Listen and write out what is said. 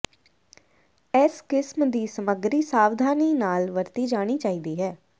ਇਸ ਕਿਸਮ ਦੀ ਸਮੱਗਰੀ ਸਾਵਧਾਨੀ ਨਾਲ ਵਰਤੀ ਜਾਣੀ ਚਾਹੀਦੀ ਹੈ